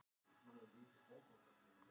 Íslands, og Magnús Jónsson, prófessor.